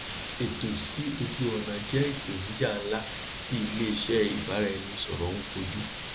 ẹtọ si oju ọna jẹ ipenija nla ti ileiṣẹ ibaraẹni sọrọ ń koju